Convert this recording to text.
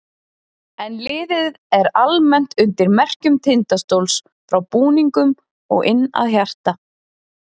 En liðið er almennt undir merkjum Tindastóls frá búningnum og inn að hjarta.